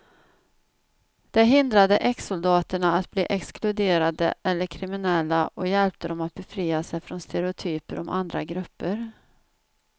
Det hindrade exsoldaterna att bli exkluderade eller kriminella och hjälpte dem att befria sig från stereotyper om andra grupper.